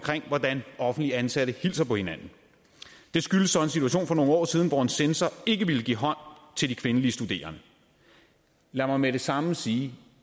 hvordan offentligt ansatte hilser på hinanden det skyldes så en situation for nogle år siden hvor en censor ikke ville give hånd til de kvindelige studerende lad mig med det samme sige